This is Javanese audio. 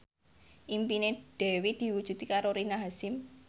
impine Dewi diwujudke karo Rina Hasyim